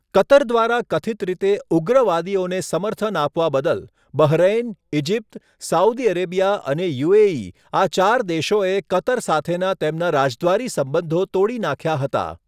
Qatar દ્વારા કથિત રીતે 'ઉગ્રવાદીઓને' સમર્થન આપવા બદલ, બહરૈન, ઇજિપ્ત, સાઉદી અરેબિયા અને યુ.એ.ઈ. આ ચાર દેશોએ કતર સાથેના તેમના રાજદ્વારી સંબંધો તોડી નાખ્યા હતા.